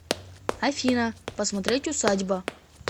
афина посмотреть усадьба